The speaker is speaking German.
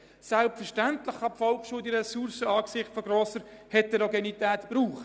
Selbstverständlich kann die Volksschule diese Ressourcen angesichts grosser Heterogenität gebrauchen.